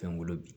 Fɛn wolo bi